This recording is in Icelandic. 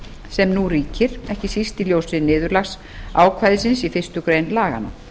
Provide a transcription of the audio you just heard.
sem nú ríkir ekki síst í ljósi niðurlagsákvæðisins í fyrstu grein laganna